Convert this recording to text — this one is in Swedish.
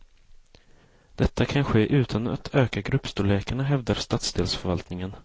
Detta kan ske utan att öka gruppstorlekarna, hävdar stadsdelsförvaltningen.